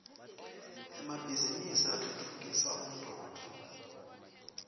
emabhizinisi atfutfukisa umnotfo